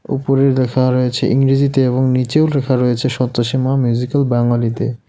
উপরে লেখা রয়েছে ইংরেজিতে এবং নীচেও লেখা রয়েছে সন্তোষী মা মিউজিক্যাল ব্যাঙালিতে .